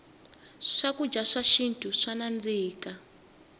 swakudya swa xintu swa nandzika